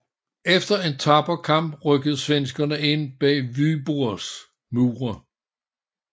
Efter en tapper kamp rykkede svenskerne ind bag Vyborgs mure